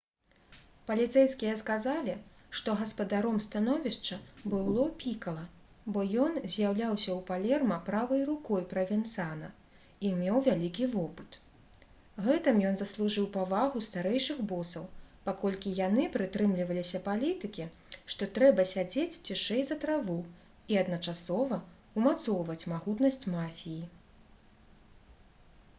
паліцэйскія сказалі што гаспадаром становішча быў ло пікала бо ён з'яўляўся ў палерма правай рукой правенцана і меў вялікі вопыт. гэтым ён заслужыў павагу старэйшых босаў паколькі яны прытрымліваліся палітыкі што трэба «сядзець цішэй за траву» і адначасова ўмацоўваць магутнасць мафіі